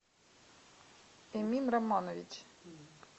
эмин романович